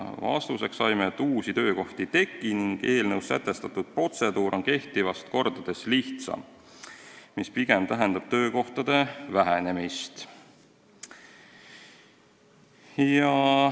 Vastuseks saime, et uusi töökohti ei teki ning eelnõus sätestatud protseduur on kehtivast kordades lihtsam, mis pigem tähendab töökohtade vähenemist.